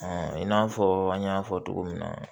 i n'a fɔ an y'a fɔ cogo min na